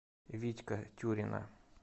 витька тюрина